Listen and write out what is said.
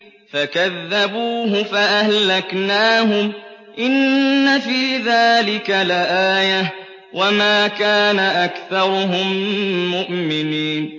فَكَذَّبُوهُ فَأَهْلَكْنَاهُمْ ۗ إِنَّ فِي ذَٰلِكَ لَآيَةً ۖ وَمَا كَانَ أَكْثَرُهُم مُّؤْمِنِينَ